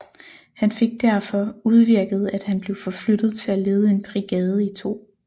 Han fik derfor udvirket at han blev forflyttet til at lede en brigade i 2